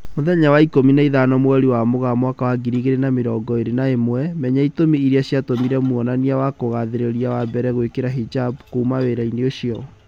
Mũthenya wa ikũmi na ithano mweri wa Mũgaa mwaka wa ngiri igĩri na mĩrongo ĩri na ĩmwe, Menya itũmi irĩa ciatumire mwonania wa kugathĩrĩria wa mbere gwĩkira hijab "kuma wĩra-inĩ ucio"